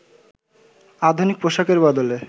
আধুনিক পোশাকের বদলে